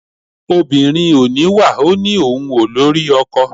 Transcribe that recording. Obìnrin ò níwà ó ní òun ò lórí ọkọ.